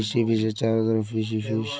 fish ही fish है चारों तरफ फिश ही फिश --